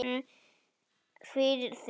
En við reynum, fyrir þig.